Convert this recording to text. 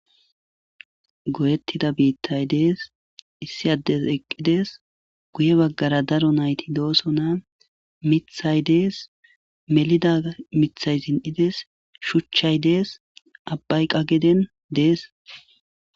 goyettida biittay dees issi addes eqqidees guye baggara daro nayti doosona mithay dees melida mithay zin7ides shuchchay dees abbayqageden dees